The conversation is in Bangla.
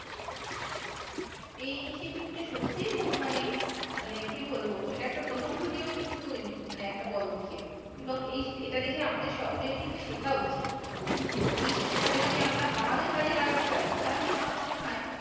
এই initiative টা সত্যি মানে মানে কি বলবো একটা প্রশংসনীয় কিন্তু একটা পদক্ষেপ এবং এটা দেখে আমাদের সকলের কিন্তু শেখা উচিৎ, এই শিক্ষা টা যদি আমরা আমাদের কাজে লাগাতে পা রি তাহলে আমার মনে হয়